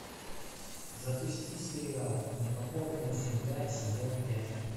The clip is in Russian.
запусти сериал непокорная земля сезон пять